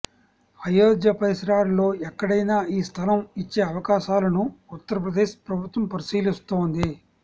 అయోధ్య పరిసరాల్లో ఎక్కడైనా ఈ స్థలం ఇచ్చే అవకాశాలను ఉత్తరప్రదేశ్ ప్రభుత్వం పరిశీలిస్తోంది